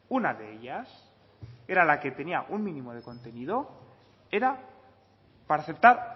una de ellas que era la que tenía un mínimo de contenido era para aceptar